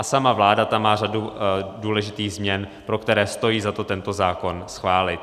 A sama vláda tam má řadu důležitých změn, pro které stojí za to tento zákon schválit.